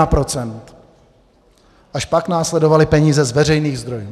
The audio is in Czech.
Až pak následovaly peníze z veřejných zdrojů.